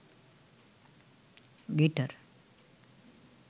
guitar